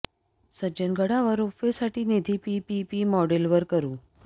सज्जनगडावर ropeway साठी निधी PPP model वर करू